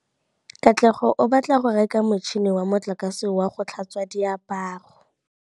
Katlego o batla go reka motšhine wa motlakase wa go tlhatswa diaparo.